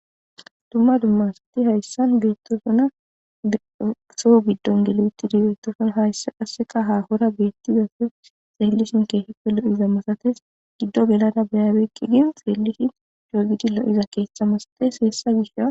dumma dummasati hayssan beettosuna dsoh giddon geliwitti digeettoson haysse qasseka hahora beetti zase seellishin keeheppe lo7iza masates giddo gelana beyaabeykki gin seellishi joogidi lo7iza keeththa masates heessa gisha